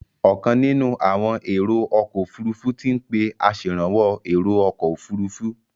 Ọ̀kan nínú àwọn èrò ọkọ̀ òfurufú ti ń pé aṣèrànwọ́ èrò ọkọ̀ òfurufú.